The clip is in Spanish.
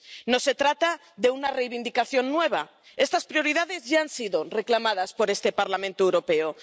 No se trata de una reivindicación nueva, estas prioridades ya han sido reclamadas por este Parlamento Europeo.